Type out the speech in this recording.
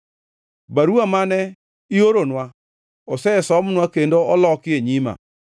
Baruwa mane ioronwa osesomnwa kendo oloki e nyima.